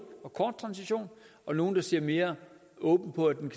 og kort transition og nogle ser mere åbent på at den